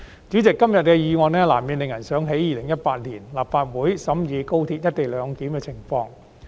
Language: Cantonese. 主席，今天的議案難免令人想起2018年立法會審議廣深港高速鐵路"一地兩檢"的情況。